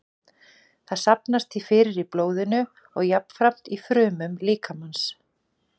Það safnast því fyrir í blóðinu og jafnframt í frumum líkamans.